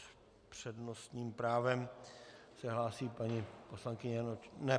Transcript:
S přednostním právem se hlásí paní poslankyně - Ne.